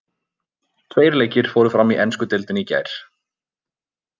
Tveir leikir fóru fram í ensku deildinni í gær.